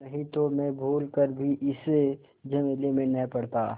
नहीं तो मैं भूल कर भी इस झमेले में न पड़ता